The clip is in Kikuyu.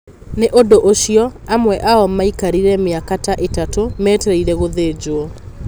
Nĩ ũndũ ũcio, amwe ao maikarire mĩaka ta ĩtatũ metereire gũthĩnjwo.